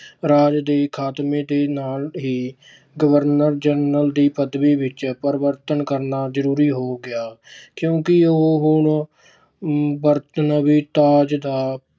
ਰਾਜ ਦੇ ਖਾਤਮੇ ਦੇ ਨਾਲ ਹੀ governor general ਦੀ ਪਦਵੀ ਵਿੱਚ ਪਰਿਵਰਤਨ ਕਰਨਾ ਜ਼ਰੂਰੀ ਹੋ ਗਿਆ ਕਿਉਂਕਿ ਹੁਣ ਉਹ ਬਰਤਾਨਵੀ ਰਾਜ ਦਾ